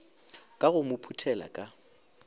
ka go mo phuthela ka